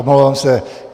Omlouvám se.